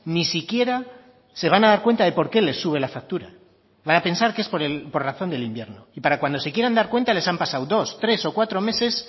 ni siquiera se van a dar cuenta de por qué les sube la factura van a pensar que es por razón del invierno y para cuando se quieran dar cuenta les han pasado dos tres o cuatro meses